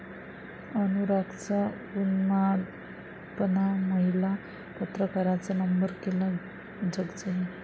अनुरागचा उन्मादपणा, महिला पत्रकाराचा नंबर केला जगजाहीर